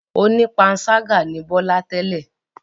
Onípanṣágà ni Bọ́lá tẹ́lẹ̀.